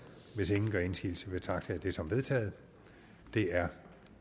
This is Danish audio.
hvis ingen gør indsigelse betragter jeg det som vedtaget det er